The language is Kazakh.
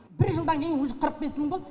бір жылдан кейін уже қырық бес мың болды